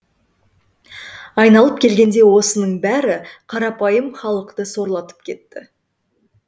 айналып келгенде осының бәрі қарапайым халықты сорлатып кетті